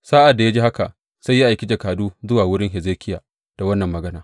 Sa’ad da ya ji haka, sai ya aiki jakadu zuwa wurin Hezekiya da wannan magana.